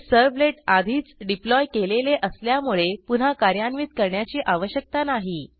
हे सर्व्हलेट आधीच डिप्लॉय केलेले असल्यामुळे पुन्हा कार्यान्वित करण्याची आवश्यकता नाही